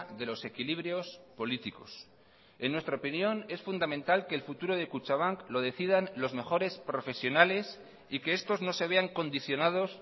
de los equilibrios políticos en nuestra opinión es fundamental que el futuro de kutxabank lo decidan los mejores profesionales y que estos no se vean condicionados